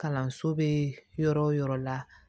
Kalanso bɛ yɔrɔ wo yɔrɔ la